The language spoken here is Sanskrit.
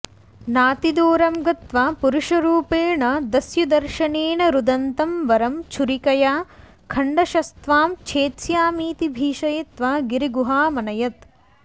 नातिदूरं गत्वा पुरुषरूपेण दस्युदर्शनेन रुदन्तं वरं छुरिकया खण्डशस्त्वां छेत्स्यामीति भीषयित्वा गिरिगुहामनयत्